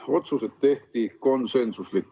Otsused tehti konsensusega.